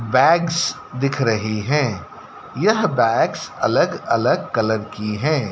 Bags दिख रही हैं यह बैग्स अलग अलग कलर की हैं।